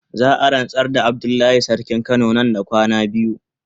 Za a ransar da Abdullahi sarkin kano nan da rana biyu.